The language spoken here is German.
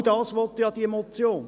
Genau dies will doch diese Motion!